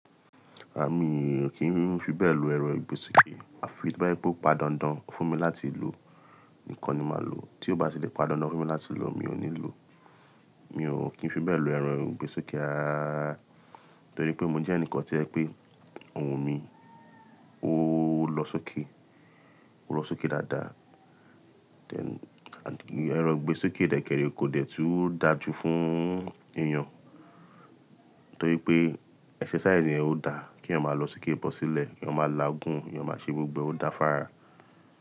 À mí kì í fi bẹ́ẹ̀ lọ ẹran ìgbésókè. À fi ì to bá jẹ pé o padańdań fún mi láti lò nìkán ni màá lò tí ó bá ti lè padańdań fún mi láti lò mi ò ní lò. Mi ò kì í fi bẹ́ẹ̀ lo ẹran ìgbésókè, rarararara torí pé mò ń jẹ́ ẹnìkan tí o jẹ pé ohùn mi ó lọ sókè, ó lọ sókè dáadáa. Hen and ẹran ìgbésókè dẹ̀kẹ̀ré kò dẹ tú dáajú fún èèyàn, torí pé exercise yẹn ó dáa, kí èèyàn má lọ sókè bọ́ sílẹ̀, kí èèyàn má lá gùn, kí èèyàn má ṣe gbogbo ẹ ó dá fára.